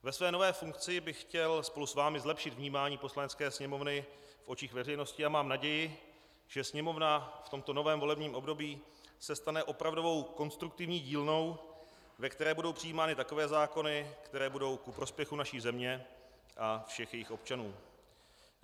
Ve své nové funkci bych chtěl spolu s vámi zlepšit vnímání Poslanecké sněmovny v očích veřejnosti a mám naději, že Sněmovna v tomto novém volebním období se stane opravdovou konstruktivní dílnou, ve které budou přijímány takové zákony, které budou ku prospěchu naší země a všech jejích občanů.